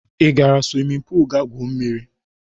Ị gara swimin puul ị ga-gwuo mmiri?